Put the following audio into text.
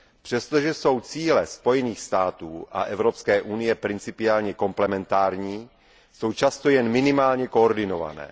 Přestože jsou cíle Spojených států a Evropské unie principiálně komplementární, jsou často jen minimálně koordinované.